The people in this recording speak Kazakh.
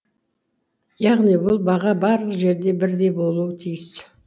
яғни бұл баға барлық жерде бірдей болуы тиіс